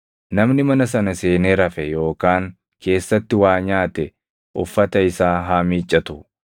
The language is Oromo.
Namni mana sana seenee rafe yookaan keessatti waa nyaate uffata isaa haa miiccatu.